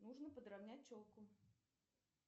нужно подравнять челку